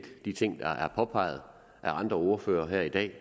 de ting der er påpeget af andre ordførere her i dag